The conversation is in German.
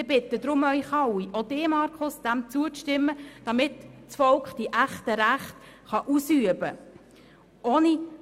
Daher bitte ich Sie alle, auch Grossrat Wenger, diesem Vorschoss zuzustimmen, damit das Volk die echten Rechte ausüben kann.